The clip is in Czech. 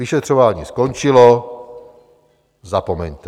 Vyšetřování skončilo, zapomeňte.